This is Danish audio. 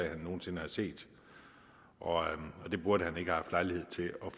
han nogen sinde har set og han burde ikke have haft lejlighed til og